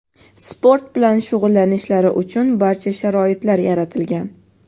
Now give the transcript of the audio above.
sport bilan shug‘ullanishlari uchun barcha sharoitlar yaratilgan;.